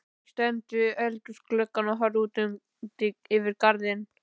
Ég stend við eldhúsgluggann og horfi út yfir garðana.